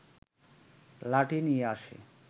লাঠি নিয়ে আসে